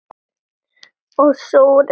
Og sór enn.